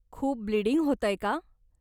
खूप ब्लीडींग होतंय का?